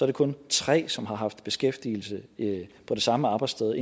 det kun tre som har haft beskæftigelse på det samme arbejdssted